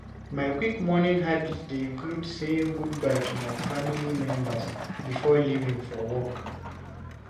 My quick morning habit dey include saying goodbye to my family members before leaving for work.